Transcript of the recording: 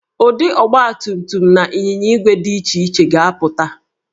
Ụdị ọgbatumtum na ịnyinya ígwè dị iche iche ka ga-apụta